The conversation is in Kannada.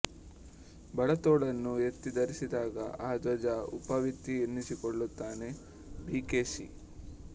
ಬಲತೋಳನ್ನು ಎತ್ತಿ ಧರಿಸಿದಾಗ ಆ ದ್ವಿಜ ಉಪವೀತೀ ಎನ್ನಿಸಿಕೊಳ್ಳುತ್ತಾನೆ ಬಿ ಕೆ ಎಸ್